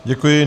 Děkuji.